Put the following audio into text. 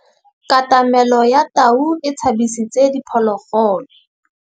Katamêlô ya tau e tshabisitse diphôlôgôlô.